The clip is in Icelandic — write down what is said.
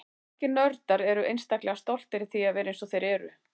Margir nördar eru einstaklega stoltir af því að vera eins og þeir eru.